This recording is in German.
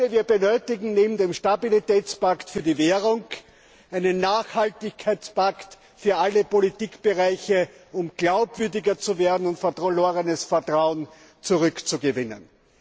Wir benötigen neben dem Stabilitätspakt für die Währung einen Nachhaltigkeitspakt für alle Politikbereiche, um glaubwürdiger zu werden und verlorenes Vertrauen zurückzugewinnen.